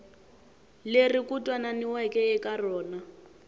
leri ku twananiweke eka rona